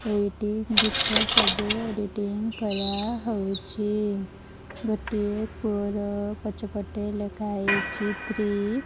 ଏଇଠି ଗୀତ ସବୁ ଏଡିଟିଙ୍ଗ କରହୋଉଛି ଗୋଟିଏ ପୁଅର ପଛପଟେ ଲେଖାହେଇଚି ଥ୍ରି ।